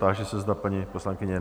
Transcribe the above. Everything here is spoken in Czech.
Táži se, zda paní poslankyně...?